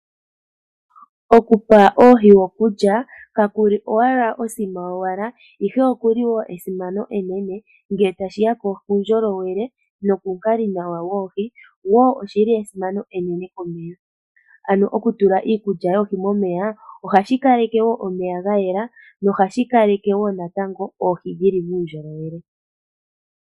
Okupa oohi okulya ka kuli owala osima yowala ihe oku li wo esimano enene ngele tashi ya kuundjolowele nokuukalinawa woohi, wo oshili esimano enene komeya. Ano okutula iikulya yoohi momeya ohashi kaleke wo omeya ga yela nohashi kaleke wo natango oohi dhi li muundjolowele.